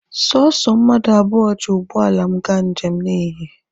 Sọsọ mmadụ abụọ ji ụgbọala m gaa njem n'ehihie.